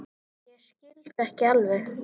Ég skildi ekki alveg.